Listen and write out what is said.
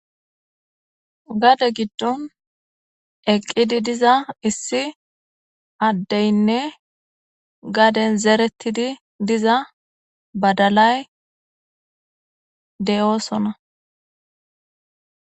Gade giddon eqqidi diza issi addeynne gaden zeerettidi diza badalay de'oosona.